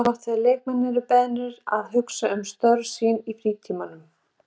Það er gott þegar leikmenn eru beðnir að hugsa um störf sín í frítímanum.